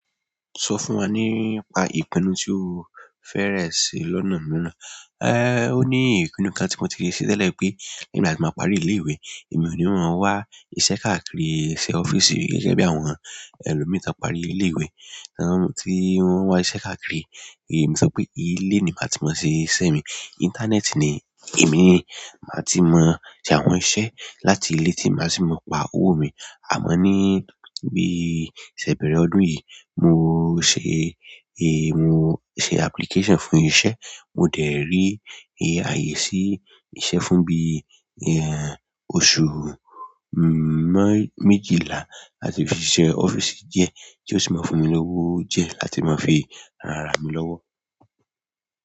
Sọ fún wa nípa ìpinnu tí o fẹrẹ̀ ṣe lọ́nà míràn. Ó ní ìpinnu kan tí mo ti ṣe tẹ́lẹ̀ pé nígbà tí n bá parí ilé ìwé, èmi ò ní máa wá iṣẹ́ káàkiri iṣẹ́ ọ́fíìsì gẹ́gẹ́ bí àwọn ẹlòmíì tí wọ́n parí ilé ìwé, tí wọ́n n wá iṣẹ́ káàkiri. Èmi sọ pé ilé mi máa ti máa ṣiṣẹ́ mi íńtánẹ́ẹ̀tì ni èmi máa ti mọ ṣe àwọn iṣẹ́ láti ilé tí màá ti mọ pa owó mi. Àmọ́ ní bí iṣẹ́ bẹ̀rẹ̀ ọdún yìí, mo ṣe, ẹ, mo ṣe application fún iṣẹ́. Mo dẹ̀ rí àyè sí iṣẹ́ fún bí i, oṣù méjìlá láti fi ṣe ọ́fíìsì díẹ̀ tí ó sì máa n fún mi lówó díẹ̀ láti máa fi ran ara mí lọ́wọ́.